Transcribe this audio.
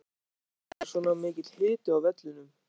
Af hverju var svona mikill hiti á vellinum?